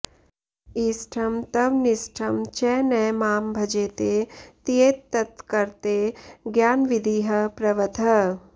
इष्टं त्वनिष्टं च न मां भजेते त्येतत्कृते ज्ञानविधिः प्रवृत्तः